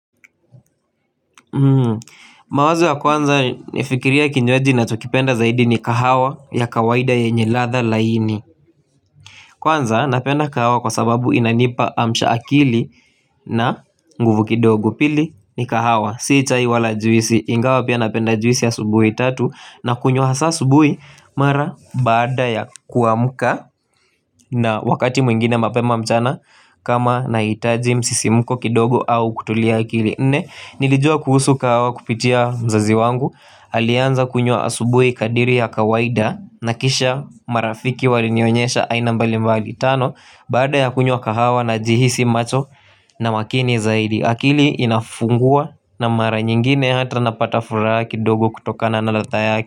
Mawazo ya kwanza nifikiria kinjwaji ninachokipenda zaidi ni kahawa ya kawaida yenye ladha laini Kwanza napenda kahawa kwa sababu inanipa amsha akili na nguvu kidogo pili ni kahawa Si chai wala juisi ingawa pia napenda juisi asubuhi tatu na kunywa hasa asubuhi mara baada ya kuamuka na wakati mwingine mapema mchana kama nahitaji msisimuko kidogo au kutulia akili Nilijua kuhusu kahawa kupitia mzazi wangu Alianza kunywa asubui kadiri ya kawaida na kisha marafiki walinionyesha aina mbali mbali tano Baada ya kunywa kahawa najihisi macho na makini zaidi akili inafungua na mara nyingine hata napata furaha kidogo kutokana na latha yake.